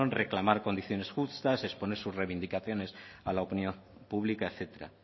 reclamar condiciones justas exponer sus reivindicaciones a la opinión pública etcétera